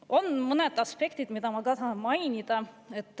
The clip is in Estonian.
On mõned aspektid, mida ma tahan mainida.